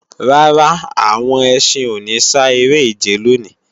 Rárá, àwọn ẹṣin ò ní sá eré-ìje lòní